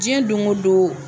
Diɲɛ don o don